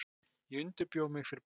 Ég undirbjó mig fyrir bæði.